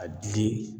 A dili